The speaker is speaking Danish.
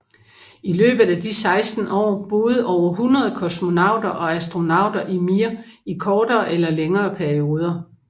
I løbet af de 16 år boede over 100 kosmonauter og astronauter i Mir i kortere eller længere perioder